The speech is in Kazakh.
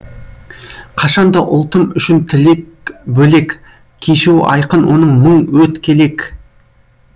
қашан да ұлтым үшін тілек бөлек кешуі айқын оның мың өткелек